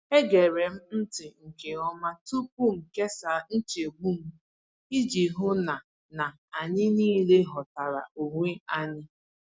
Egere m ntị nke ọma tupu m kesaa nchegbu m, iji hụ na na anyị niile ghọtara onwe anyị.